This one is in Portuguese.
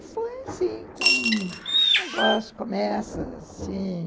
Pois é, foi assim, com um negócio, começa assim...